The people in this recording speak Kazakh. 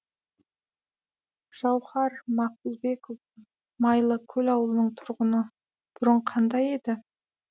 жауһар мақұлбекова майлыкөл ауылының тұрғыны бұрын қандай еді